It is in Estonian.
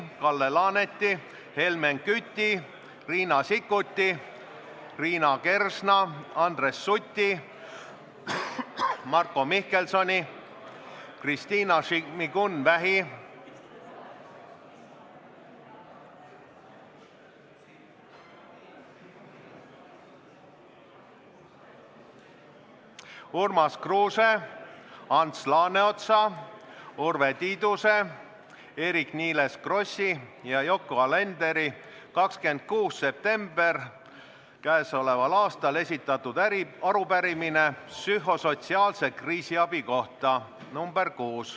Kalle Laaneti, Helmen Küti, Riina Sikkuti, Liina Kersna, Andres Suti, Marko Mihkelsoni, Kristina Šmigun-Vähi, Urmas Kruuse, Ants Laaneotsa, Urve Tiiduse, Eerik-Niiles Krossi ja Yoko Alenderi 26. septembril käesoleval aastal esitatud arupärimine psühhosotsiaalse kriisiabi kohta.